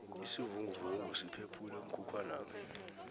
isivinguvungu siphephule umkhukhwanami